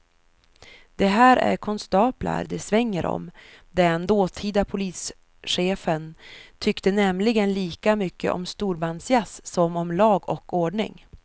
Det här är konstaplar det svänger om, den dåtida polischefen tyckte nämligen lika mycket om storbandsjazz som om lag och ordning.